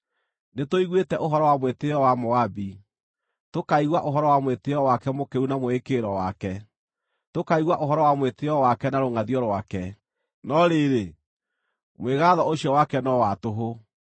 Nĩtũiguĩte ũhoro wa mwĩtĩĩo wa Moabi: tũkaigua ũhoro wa mwĩtĩĩo wake mũkĩru na mwĩĩkĩrĩro wake, tũkaigua ũhoro wa mwĩtĩĩo wake na rũngʼathio rwake; no rĩrĩ, mwĩgaatho ũcio wake no wa tũhũ.